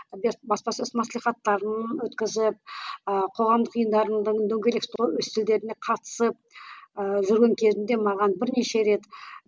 баспасөз маслихаттарын өткізіп ыыы қоғамдық ұйымдардың дөңгелек үстелдеріне қатысып ыыы жүрген кезімде маған бірнеше рет